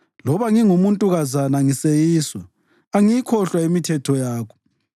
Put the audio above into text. Loba ngingumuntukazana ngiseyiswa, angiyikhohlwa imithetho yakho.